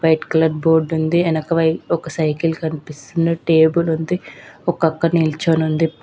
White colour board ఉంది. వెనకవై ఒక సైకిల్ కనిపిస్తున్న టేబుల్ ఉంది. ఒక అక్క నుంచుని ఉంది.